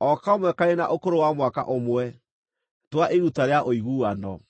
o kamwe karĩ na ũkũrũ wa mwaka ũmwe, twa iruta rĩa ũiguano.